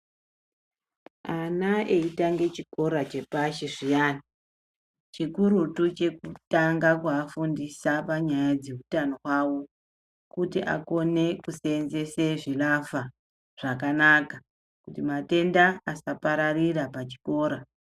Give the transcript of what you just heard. Ana eyitange chikora chepashi zviyana chikurutu chekutanga kua fundisa panyaya dze utano hwawo kuti akone kusenzese zvi lavha zvakanaka kuti matenda asa pararira pa chikora.